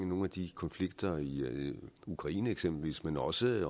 nogle af de konflikter i ukraine eksempelvis men også i